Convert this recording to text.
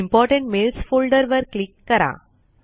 important mails folder वर click करा